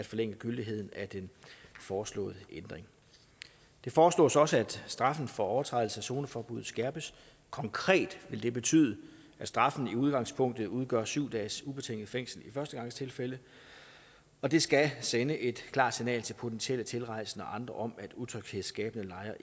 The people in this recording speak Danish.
forlænget gyldigheden af den foreslåede ændring det foreslås også at straffen for overtrædelse af zoneforbuddet skærpes konkret vil det betyde at straffen i udgangspunktet udgør syv dages ubetinget fængsel i førstegangstilfælde og det skal sende et klart signal til potentielle tilrejsende og andre om at utryghedsskabende lejre